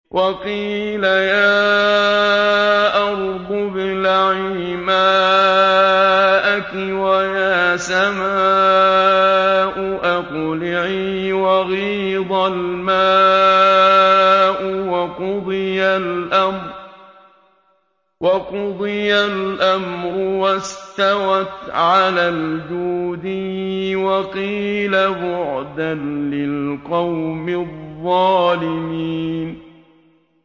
وَقِيلَ يَا أَرْضُ ابْلَعِي مَاءَكِ وَيَا سَمَاءُ أَقْلِعِي وَغِيضَ الْمَاءُ وَقُضِيَ الْأَمْرُ وَاسْتَوَتْ عَلَى الْجُودِيِّ ۖ وَقِيلَ بُعْدًا لِّلْقَوْمِ الظَّالِمِينَ